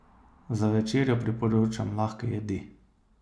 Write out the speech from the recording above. Za večerjo priporočam lahke jedi.